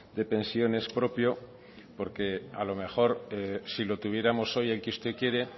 de pensiones propio porque a lo mejor si lo tuviéramos hoy el que usted quiere